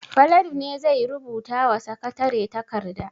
Falalu ne zai rubuta wa sakatare takarda.